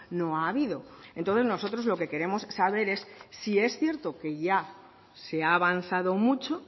no ha habido entonces nosotros lo que queremos saber es si es cierto que ya se ha avanzado mucho